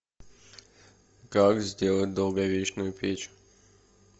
как сделать долговечную печь